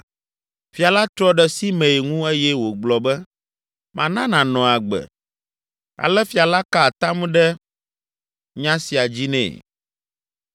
Fia la trɔ ɖe Simei ŋu eye wògblɔ be, “Mana nànɔ agbe.” Ale fia la ka atam ɖe nya sia dzi nɛ.